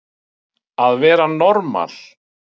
Að vera normal